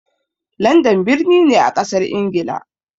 Landan birni ne a ƙasar ingila